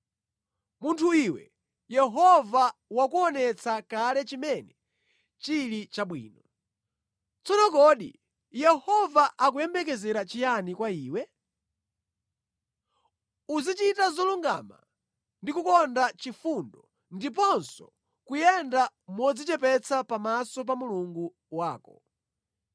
Munthu iwe, Yehova wakuonetsa kale chimene chili chabwino. Tsono kodi Yehova akuyembekezera chiyani kwa iwe? Uzichita zolungama ndi kukonda chifundo ndiponso kuyenda modzichepetsa pamaso pa Mulungu wako.